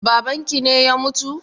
Babanki ne ya mutu?